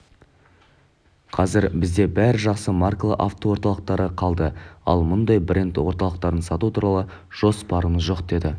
қазір бізде бәрі жақсы маркалы автоорталықтары қалды ал мұндай бренд орталықтарын сату туралы жоспарымыз жоқ деді